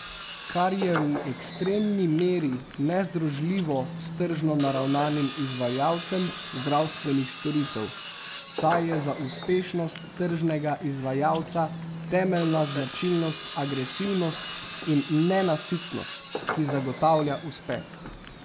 Kar je v ekstremni meri nezdružljivo s tržno naravnanim izvajalcem zdravstvenih storitev, saj je za uspešnost tržnega izvajalca temeljna značilnost agresivnost in nenasitnost, ki zagotavlja uspeh.